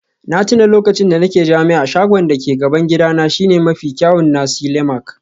Na tuna lokacin da nake jami'a, shagon da ke gaban gidana shine mafi kyawun nasi lemak